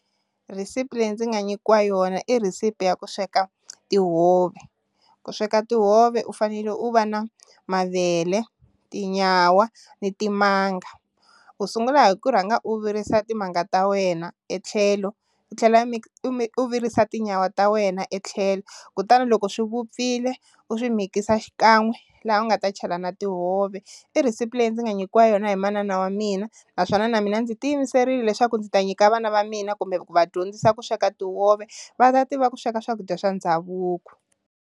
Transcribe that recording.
Rhisipi leyi ndzi nga nyikiwa yona i receipt ya ku sweka tihove ku sweka tihove u fanele u va na mavele, tinyawa ni timanga u sungula hi ku rhanga u virisa timanga ta wena etlhelo, i tlhela i virisa tinyawa ta wena etlhelo kutani loko swi vupfile u swi mikisa xikan'we laha u nga ta chela na tihove, i receipt leyi ndzi nga nyikiwa yona hi manana wa mina naswona na mina ndzi ti yimiserile leswaku ndzi ta nyika vana va mina kumbe ku va dyondzisa ku sweka tihove va ta tiva ku sweka swakudya swa ndhavuko.